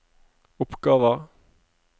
oppgaver